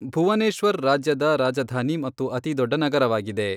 ಭುವನೇಶ್ವರ್ ರಾಜ್ಯದ ರಾಜಧಾನಿ ಮತ್ತು ಅತಿ ದೊಡ್ಡ ನಗರವಾಗಿದೆ .